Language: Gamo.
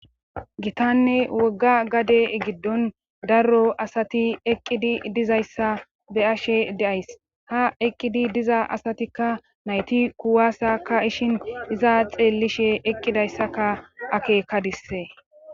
gitanne wogga gade giddon daro asati eqqidi dizayssa be ashe deays ha eqqidi diza asatikka nayti kuwasakka ishin iza xeellishe eqqidayssaka akeekadisse